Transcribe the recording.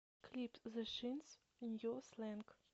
клип зе шинс нью слэнг